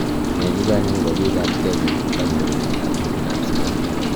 nai chechag akopa piik ak Kenya ak kanyorunte ap miando ap sugaruk